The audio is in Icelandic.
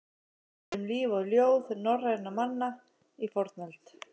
Þættir um líf og ljóð norrænna manna í fornöld.